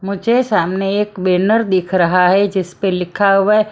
मुझे सामने एक बैनर दिख रहा है जिस पर लिखा हुआ है।